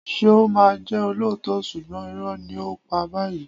ṣeún ma ń jẹ ọlọto súgbon irò ni o pá bayii